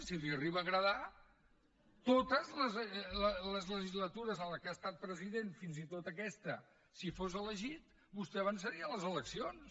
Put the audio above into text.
si li arriba a agradar totes les legislatures en què ha estat president fins i tot aquesta si fos elegit vostè avançaria les eleccions